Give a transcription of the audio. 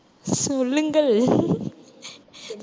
உம் சொல்லுங்கள்